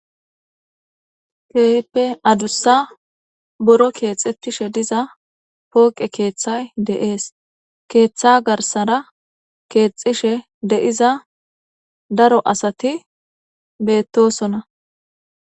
Keehippe adusa buro kexetishe diza adusa pooqe keethay de'es ketha garsara kexishe diza daro asat betosona.